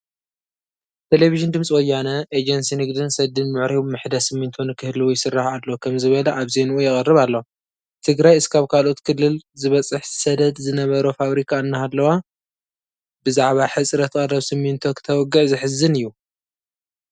ቴለብዥን ድምፂ ወያነ ኤጀንሲ ንግድን ሰድን ምዕሩይ ምሕደ ስሚንቶ ንክህልዉ ይስራሕ ኣሎ ከምዝበለ ኣብ ዜንኡ የቕርብ ኣሎ፡፡ ትግራይ እስካብ ካልኦት ክልል ዝበፅሕ ሰደድ ዝነበሮ ፋብሪካ እናሃለዋ ብዛዕባ ሕፅረት ቀረብ ስሚንቶ ክተውግዕ ዘሕዝን እዩ፡፡